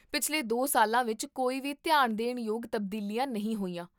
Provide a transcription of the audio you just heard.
ਪਿਛਲੇ ਦੋ ਸਾਲਾਂ ਵਿੱਚ ਕੋਈ ਵੀ ਧਿਆਨ ਦੇਣ ਯੋਗ ਤਬਦੀਲੀਆਂ ਨਹੀਂ ਹੋਈਆਂ